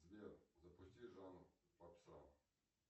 сбер запусти жанр попса